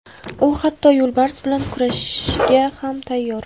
U hatto yo‘lbars bilan kurashga ham tayyor.